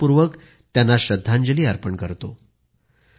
मी आदरपूर्वक त्यांना श्रद्धांजली अर्पण करतो